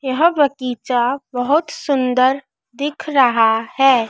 यह बगीचा बहुत सुंदर दिख रहा है।